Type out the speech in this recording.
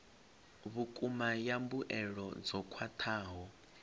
vhukuma ya mbuelo dzo khwathaho